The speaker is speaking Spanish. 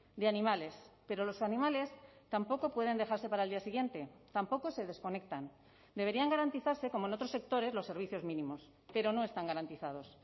de animales pero los animales tampoco pueden dejarse para el día siguiente tampoco se desconectan deberían garantizarse como en otros sectores los servicios mínimos pero no están garantizados